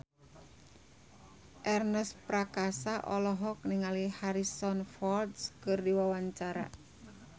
Ernest Prakasa olohok ningali Harrison Ford keur diwawancara